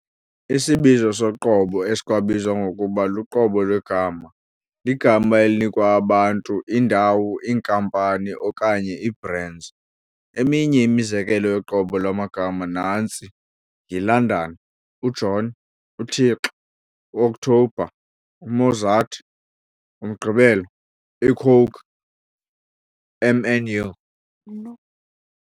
Isibizo soqobo, esikwabizwa ngokuba luqobo lwegama, ligama elinikwa abantu, iindawo, iinkampani, okanye ii-brands. Eminye imizekelo yoqobo lwamagama nantsi - "yi-London, u-John, u-Thixo, u-OKthobha, u-Mozart, umgqibelo, i-Coke, Mnu.